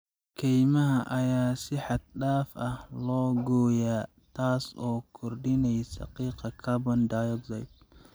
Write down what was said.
Kaymaha ayaa si xad dhaaf ah loo gooyaa, taas oo kordhinaysa qiiqa carbon dioxide.